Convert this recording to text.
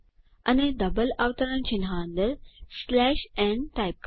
અને ડબલ અવતરણ ચિહ્ન અંદર n ટાઇપ કરો